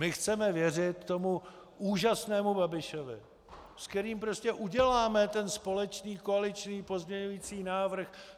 My chceme věřit tomu úžasnému Babišovi, s kterým prostě uděláme ten společný koaliční pozměňující návrh.